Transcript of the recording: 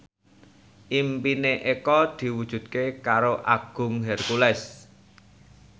impine Eko diwujudke karo Agung Hercules